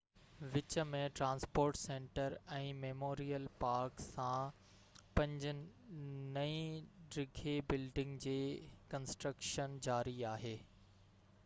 وچ ۾ transport centre ۽ memorial park ساڻ پنج نئي ڊگهي بلڊنگن جي ڪنسٽرڪشن جاري آهي